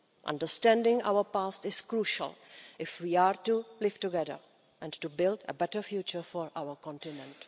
Understanding our past is crucial if we are to live together and to build a better future for our continent.